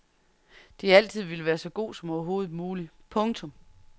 De har altid villet være så god som overhovedet mulig. punktum